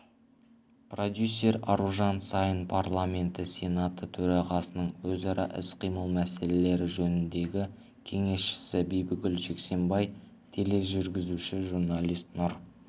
продюсер аружан саин парламенті сенаты төрағасының өзара іс-қимыл мәселелері жөніндегі кеңесшісі бибігүл жексенбай тележүргізуші журналист нұр